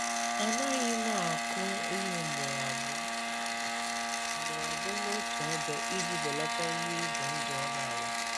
A naghị m akụ ihe ugboro abụọ n’otu ugboro abụọ n’otu ebe iji belata ihe ize ndụ ọrịa ala.